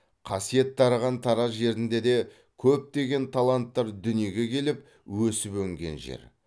қасиет дарыған тараз жерінде де көптеген таланттар дүниеге келіп өсіп өнген жер